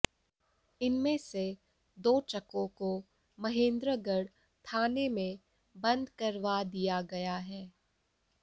इनमें से दो ट्रकों को महेंद्रगढ़ थाने में बंद करवा दिया गया है